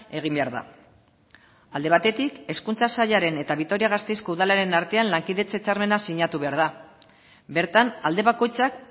egin behar da alde batetik hezkuntza sailaren eta vitoria gasteizko udalaren artean lankidetza hitzarmena sinatu behar da bertan alde bakoitzak